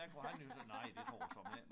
Der kunne han jo så nej det får jeg såmænd ikke